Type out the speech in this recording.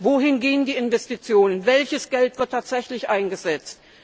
Wohin gehen die Investitionen, welches Geld wird tatsächlich eingesetzt?